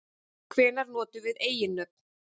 Hvenær notum við eiginnöfn?